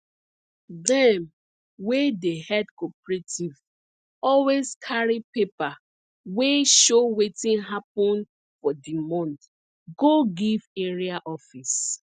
dem wey dey head cooperative always carry paper wey show wetin hapun for di month go give area office